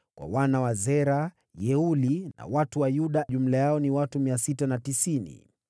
Kwa wana wa Zera: Yeueli. Watu wa Yuda jumla yao walikuwa watu 690.